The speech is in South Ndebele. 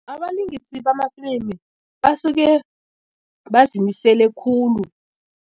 Abalingisi bamafilimu basuke bazimisele khulu.